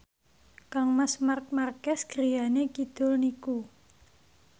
kangmas Marc Marquez griyane kidul niku